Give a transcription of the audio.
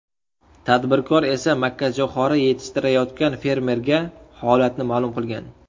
Tadbirkor esa makkajo‘xori yetishtirayotgan fermerga holatni ma’lum qilgan.